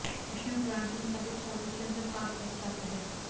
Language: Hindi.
विष्णु पुराण के मुताबिक चावल के अंदर पाप बस जाता है